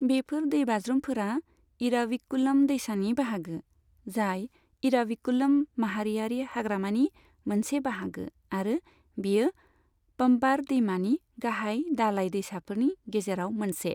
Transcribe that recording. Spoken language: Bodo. बेफोर दैबाज्रुमफोरा इराविकुलम दैसानि बाहागो, जाय इराविकुलम माहारियारि हाग्रामानि मोनसे बाहागो आरो बेयो पम्बार दैमानि गाहाय दालाय दैसाफोरनि गेजेराव मोनसे।